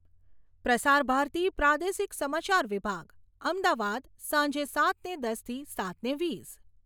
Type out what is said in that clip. પ્રસાર ભારતી પ્રાદેશિક સમાચાર વિભાગ, અમદાવાદ સાંજે સાતને દસથી સાતને વીસ